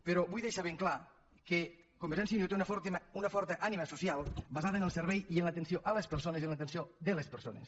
però vull deixar ben clar que convergència i unió té una forta ànima social basada en el servei i en l’atenció a les persones i en l’atenció de les persones